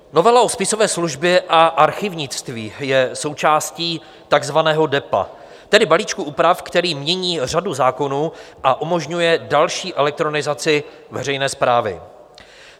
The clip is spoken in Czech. Novela o spisové službě a archívnictví je součástí takzvaného Depa, tedy balíčku úprav, který mění řadu zákonů a umožňuje další elektronizaci veřejné správy.